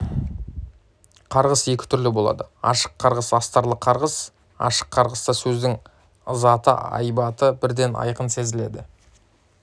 қарғыс екі түрлі болады ашық қарғыс астарлы қарғыс ашық қарғыста сөздің ызыты айбаты бірден айқын сезіледі